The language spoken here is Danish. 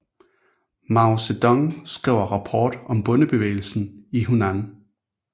Mao Zedong skriver rapport om bondebevægelsen i Hunan